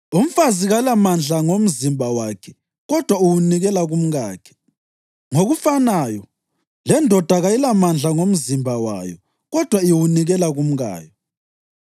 Umfazi kalamandla ngomzimba wakhe kodwa uwunikela kumkakhe. Ngokufanayo, lendoda kayilamandla ngomzimba wayo kodwa iwunikela kumkayo.